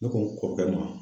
Ne ko n kɔrɔkɛ ma.